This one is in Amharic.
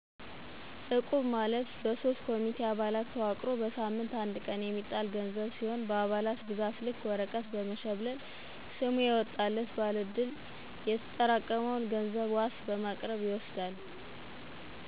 እቁብ` ማለት በሶስት ኮሚቴ አባላት ተዋቅሮ በሳምት አንድ ቀን የሚጣል ገንዘብ ሲሁን በአባላት ብዛት ልክ ወረቀት በመሽብለል ሰሙ የወጣላት ባለ ዕድል ሲሆን የተጠራቀመውን ገንዘብ ዋስ በማቅረብ ይወስዳል።